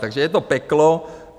Takže je to peklo.